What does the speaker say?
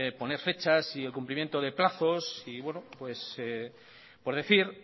poner fechas y el cumplimiento de plazos y por decir